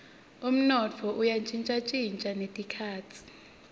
umnotfo uya shintjashintja netikhatsi